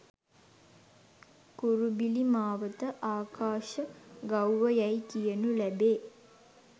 කුරුබිලි මාවත ආකාශ ගව්ව යැයි කියනු ලැබේ.